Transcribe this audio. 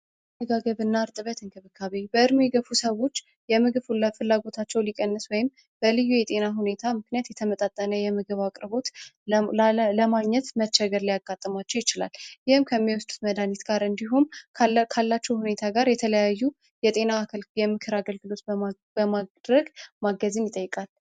አመጋገብና ርጥበት እንክብካቤ በእድሜ የገፉ ሰዎች የምግብ ፍላጎታቸው ሊቀንስ ወይም በልዩ የጤና ሁኔታ ምክንያት የተመጣጠነ የምግብ አቅርቦት ለማግኘት መቸገር ሊያጋጥማቸው ይችላል። ይህም ከሚወስዱት መድሃኒት ጋር እንዲሁም ካላችሁ ሁኔታ ጋር የተለያዩ የጤና የምክር አገልግሎት በማድረግ ማገዝን ይጠይቃል።